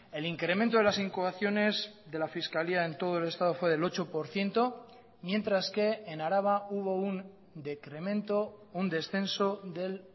el incremento de las incoaciones de la fiscalía en todo el estado fue del ocho por ciento mientras que en araba hubo un decremento un descenso del